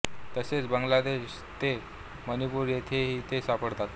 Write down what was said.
तसेच बांगला देश ते मणिपूर येथेही ते सापडतात